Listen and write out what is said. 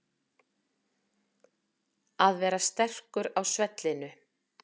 Að vera sterkur á svellinu